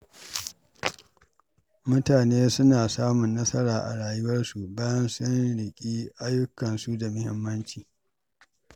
Mutane suna samun nasara a rayuwarsu, bayan sun riƙi ayyukansu da muhimmanci.